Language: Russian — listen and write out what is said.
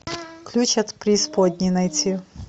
ключ от преисподней найти